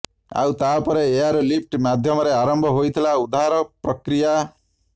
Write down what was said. ଆଉ ତାପରେ ଏୟାର ଲିଫ୍ଟଟ ମାଧ୍ୟମରେ ଆରମ୍ଭ ହୋଇଥିଲା ଉଦ୍ଧାର ପ୍ରକ୍ରିୟା